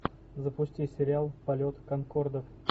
запусти сериал полет конкордов